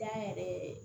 Jan yɛrɛ yɛrɛ